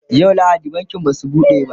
yau lahadi bankin Basu buɗe ba